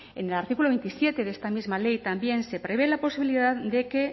en el artículo veintisiete de esta misma ley también se prevé la posibilidad de que